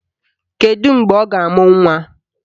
Kedu mgbe ọ ga-amụ nnwa?